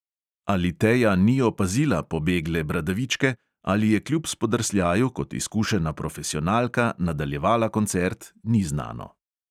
Ali teja ni opazila "pobegle bradavičke" ali je kljub spodrsljaju kot izkušena profesionalka nadaljevala koncert, ni znano.